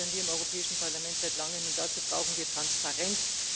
Das fordern wir im Europäischen Parlament seit langem, und dazu brauchen wir Transparenz.